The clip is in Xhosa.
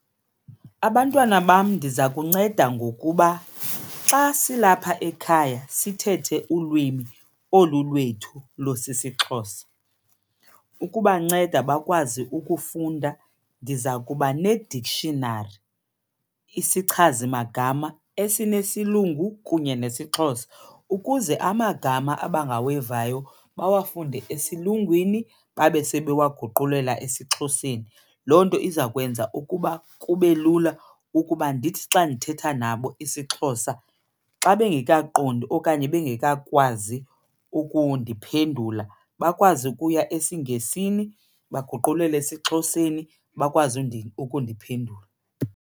Abantwana bam ndiza kunceda ngokuba xa silapha ekhaya sithethe ulwimi olu lwethu lusisiXhosa. Ukubanceda bakwazi ukufunda ndiza kuba ne-dictionary, isichazimagama esinesilungu kunye nesiXhosa, ukuze amagama abangawevayo bawafunde esilungwini babe sebewaguqulela esiXhoseni. Loo nto iza kwenza ukuba kube lula ukuba ndithi xa ndithetha nabo isiXhosa xa bengekaqondi okanye bengekakwazi ukundiphendula bakwazi ukuya esiNgesini baguqulele esiXhoseni bakwazi ukundiphendula.